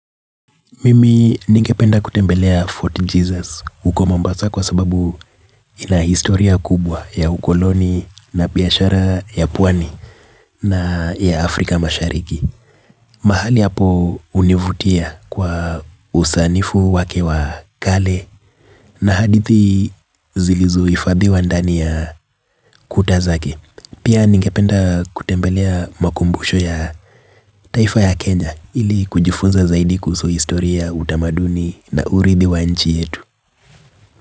Mimi ningependa kutembelea Fort Jesus huko mombasa kwa sababu ina historia kubwa ya ukoloni na biashara ya pwani na ya Afrika mashariki. Mahali hapo univutia kwa usanifu wake wa kale na hadithi zilizo hifadhiwa ndani ya kuta zake. Pia ningependa kutembelea makumbushu ya taifa ya Kenya ili kujifunza zaidi kuhusu historia utamaduni na urithi wa nchi yetu.